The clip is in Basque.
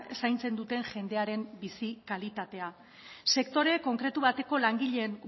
zaintzen duten jendearen bizi kalitatea sektore konkretu bateko langileen